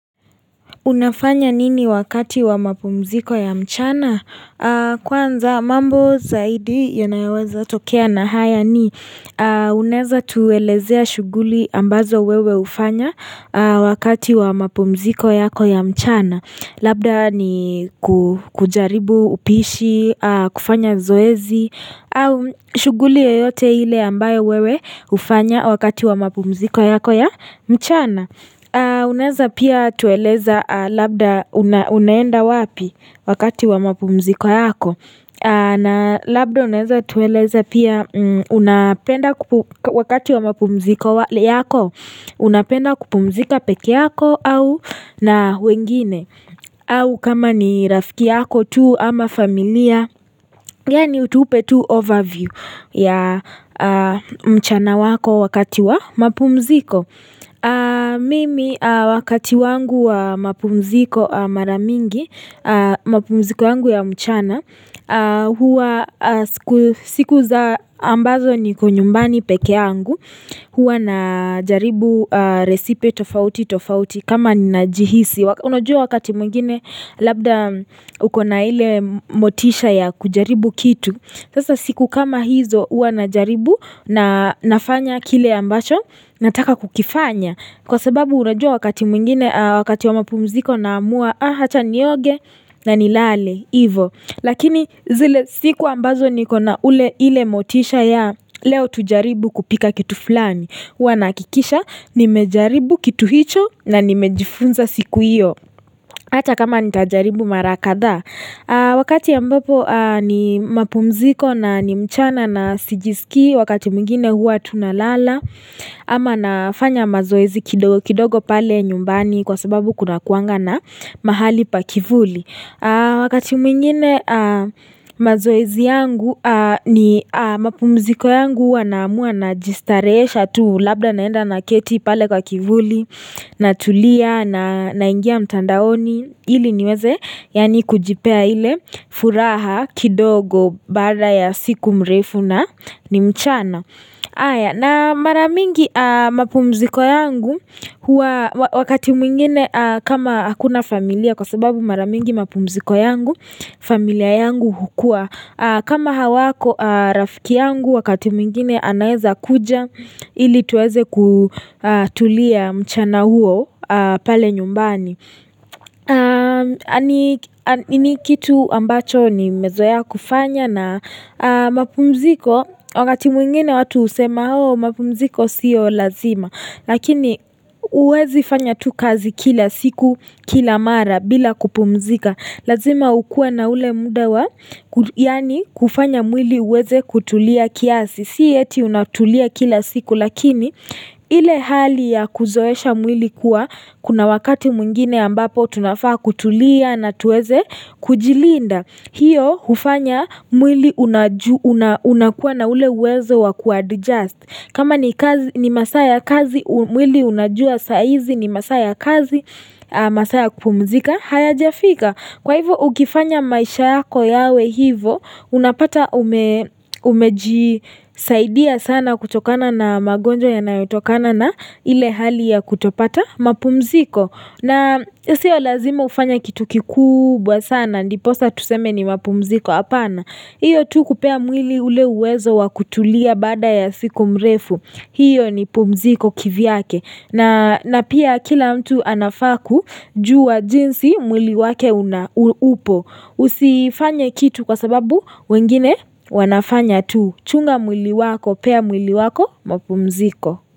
Unafanya nini wakati wa mapumziko ya mchana? Kwanza mambo zaidi yonayaweza tokea na haya ni Unaeza tuelezea shughuli ambazo wewe hufanya wakati wa mapumziko yako ya mchana? Labda ni kujaribu upishi, kufanya zoezi shughuli yeyote ile ambayo wewe hufanya wakati wa mapumziko yako ya mchana Unaeza pia tueleza labda unaenda wapi wakati wa mapumziko yako na labda unaeza tueleza pia unapenda wakati wa mapumziko yako Unapenda kupumzika peke yako au na wengine au kama ni rafiki yako tu ama familia Yaani utupe tu overview ya mchana wako wakati wa mapumziko Mimi wakati wangu wa mapumziko mara mingi mapumziko yangu ya mchana siku za ambazo niko nyumbani peke yangu huwa najaribu resipe tofauti tofauti kama najihisi, unajua wakati mwengine labda ukona ile motisha ya kujaribu kitu, sasa siku kama hizo huwa najaribu na nafanya kile ambacho nataka kukifanya, kwa sababu unajua wakati mwingine wakati wa mapumziko nahamua acha nioge na nilale Lakini zile siku ambazo nikona ule ile motisha ya leo tujaribu kupika kitu fulani huwa nahakikisha nimejaribu kitu hicho na nimejifunza siku hiyo. Hata kama nitajaribu mara kadha Wakati ya ambapo ni mapumziko na ni mchana na sijisikii wakati mwingine huwa tunalala ama nafanya mazoezi kidogo pale nyumbani kwa sababu kunakuanga na mahali pa kivuli Wakati mwingine mazoezi yangu ni mapumziko yangu huwa nahamua najistarehesha tu labda naenda naketi pale kwa kivuli Natulia na naingia mtandaoni ili niweze yaani kujipea ile furaha kidogo baada ya siku mrefu na ni mchana haya na mara mingi mapumziko yangu wakati mwingine kama hakuna familia kwa sababu mara mingi mapumziko yangu, familia yangu hukua kama hawako rafiki yangu wakati mwingine anaeza kuja ili tuweze kutulia mchana huo pale nyumbani. Na ni kitu ambacho ni mezoea kufanya na mapumziko wakati mwingine watu husema oh mapumziko siyo lazima lakini huwezi fanya tu kazi kila siku kila mara bila kupumzika lazima hukue na ule muda wa yaani kufanya mwili uweze kutulia kiasi. Si eti unatulia kila siku lakini ile hali ya kuzoesha mwili kuwa kuna wakati mwingine ambapo tunafaa kutulia na tuweze kujilinda. Hiyo hufanya mwili unakuwa na ule uwezo wa kuadjust. Kama ni masaa ya kazi mwili unajua saa hizi ni masaa ya kazi masaa ya kupumzika hayajafika. Kwa hivyo ukifanya maisha yako yawe hivyo, unapata umejisaidia sana kutokana na magonjwa yanayotokana na ile hali ya kutopata mapumziko. Na sio lazima hufanye kitu kikubwa sana, ndiposa tuseme ni mapumziko hapana. Hiyo tu kupea mwili ule uwezo wa kutulia baada ya siku mrefu, hiyo ni pumziko kivyake. Na pia kila mtu anafaa kujua jinsi mwili wake upo usifanye kitu kwa sababu wengine wanafanya tu chunga mwili wako pea mwili wako mapumziko.